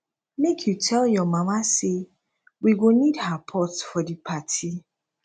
make you tell your mama say we go need her pot for di party